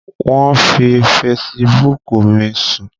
Wọ́n fi fesibúùkù mi sùn